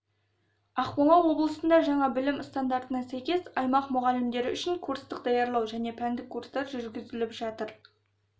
ақмола облысында жаңа білім стандартына сәйкес аймақ мұғалімдері үшін курстық даярлау және пәндік курстар жүргізіліп жатыр